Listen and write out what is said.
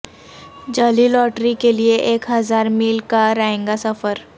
جعلی لاٹری کے لیے ایک ہزار میل کا رائیگاں سفر